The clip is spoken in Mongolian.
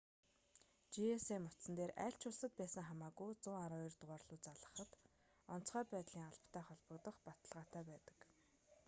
gsm утсан дээр аль ч улсад байсан хамаагүй 112 дугаар руу залгахад онцгой байдлын албатай холбогдох баталгаатай байдаг